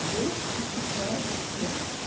бог отвечает всем